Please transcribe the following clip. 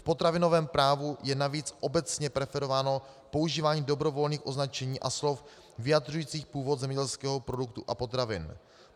V potravinovém právu je navíc obecně preferováno používání dobrovolných označení a slov vyjadřujících původ zemědělského produktu a potravin.